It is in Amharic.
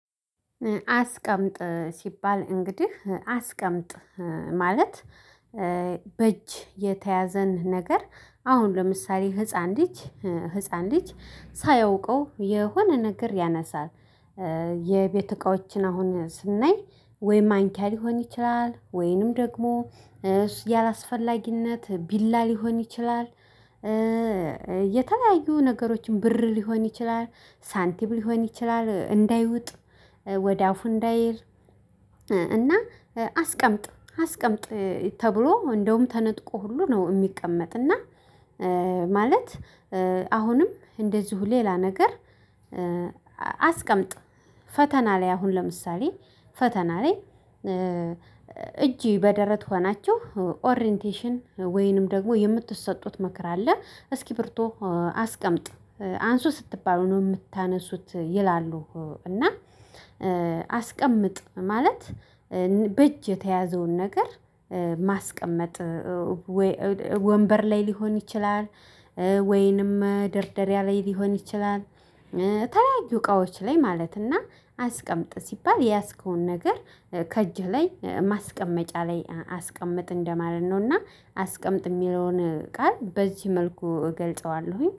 አስቀምጥ ሲባል እንግዲህ አስቀምጥ ማለት በእጅ የተያዘን ነገር አሁን ለምሳሌ ህፃን ልጅ ህፃን ልጅ ሳያውቀው የሆነ ነገር ያነሳል። የቤት እቃዎችን አሁን ስናይ ወይ ማንኪያ ሊሆን ይችላል ወይንም ደግሞ ያላስፈላጊነት ቢላ ሊሆን ይችላል። የተለያዩ ነገሮችን ብር ሊሆን ይችላል ሳንቲም ሊሆን ይችላል እንዳይውጥ ወደ አፉ እንዳይል። እና አስቀምጥ አስቀምጥ ተብሎ እንደውም ተነጥቆ ሁሉ ነው የሚቀመጥ። እና ማለት አሁንም እንደዚሁ ሌላ ነገር። አስቀምጥ ፈተና ላይ አሁን ለምሳሌ ፈተና ላይ። እጅ በደረት ሆናችሁ ኦሪንቴሽን ወይንም ደግሞ የምትሰጡት ምክር አለ እስኪሪብቶ አስቀምጥ አንሱ ስትባሉ ነው የምታነሱት ይላሉ። እና አስቀምጥ ማለት በእጅ የተያዘውን ነገር ማስቀመጥ። ወይ ወንበር ላይ ሊሆን ይችላል ወይንም መደርደሪያ ላይ ሊሆን ይችላል። ተለያዩ እቃዎች ላይ ማለትና አስቀምጥ ሲባል የያዝከውን ነገር ከእጅህ ላይ ማስቀመጫ ላይ አስቀምጥ እንደማለት ነውና አስቀምጥ የሚለውን ቃል በዚህ መልኩ እገልጸዋለሁኝ